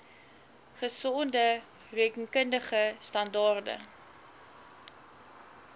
gesonde rekenkundige standaarde